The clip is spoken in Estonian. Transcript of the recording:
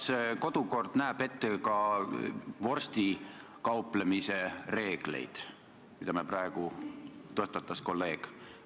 Kas kodukord näeb ette ka vorstikauplemise reegleid, mida kolleeg praegu mainis?